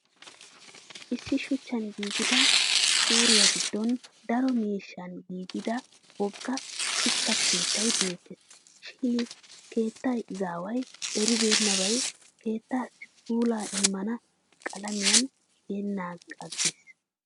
Issi shuchchan giigida shuuriya giddon daro miishshan giigida wogga shuchcha keettay beettes. Shin keettan izaaway eribennabay kettaassi puulaa immana qalamiyaan tiyanaagaa aggis.